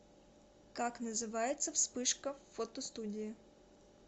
как называется вспышка в фотостудии